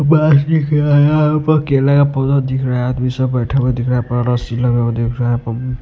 बस दिख रहा है यहां पर केला का पौधा दिख रहा है आदमी सब बैठे हुए दिख रहा है रासी लगा दिख रहा है --